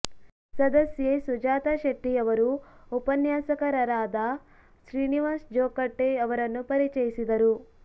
ಸದಸ್ಯೆ ಸುಜಾತಾ ಶೆಟ್ಟಿ ಅವರು ಉಪನ್ಯಾಸಕಾರರಾದ ಶ್ರೀನಿವಾಸ ಜೋಕಟ್ಟೆ ಅವರನ್ನು ಪರಿಚಯಿಸಿದರು